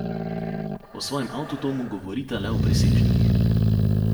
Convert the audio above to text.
O svojem avtodomu govorita le v presežnikih.